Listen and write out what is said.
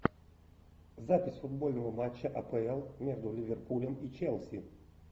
запись футбольного матча апл между ливерпулем и челси